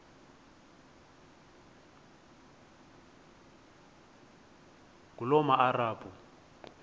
ngulomarabu